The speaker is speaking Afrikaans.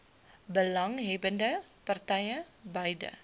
belanghebbbende partye beide